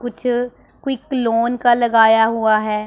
कुछ quick loan का लगाया हुआ है।